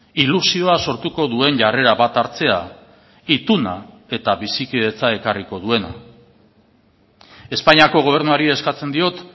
ilusioa sortuko duen jarrera bat hartzea ituna eta bizikidetza ekarriko duena espainiako gobernuari eskatzen diot